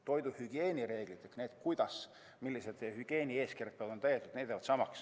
Toiduhügieenireeglid, kuidas ja millised hügieenieeskirjad peavad olema täidetud, see kõik jääb samaks.